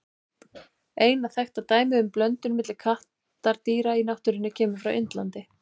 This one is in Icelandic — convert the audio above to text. Eina þekkta dæmið um blöndun milli kattardýra í náttúrunni kemur frá Indlandi.